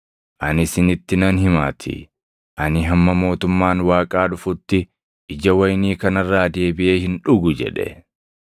Ani isinitti nan himaatii; ani hamma mootummaan Waaqaa dhufutti ija wayinii kana irraa deebiʼee hin dhugu” jedhe.